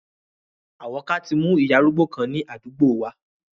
Àwọ́ká tí mu ìyá arúgbó kan ni àdúgbò wa.